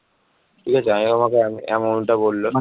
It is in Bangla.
ঠিক আছে amount টা বলল